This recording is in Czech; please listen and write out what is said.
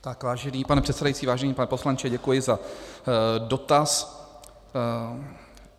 Tak vážený pane předsedající, vážený pane poslanče, děkuji za dotaz.